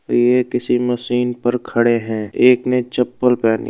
यह किसी मशीन पर खड़े है। एक ने चप्पल पहनी --